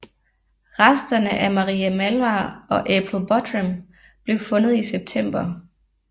Resterne af Marie Malvar og April Buttram blev fundet i september